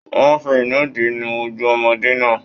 Wọn fí inùdí nu ojú ọmọde náà.